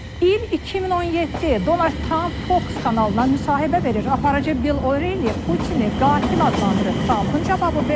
İl 2017, Donald Trump Fox kanalına müsahibə verir, aparıcı Bill O'Reilly Putini qatil adlandırır, Trumpın cavabı belə olur.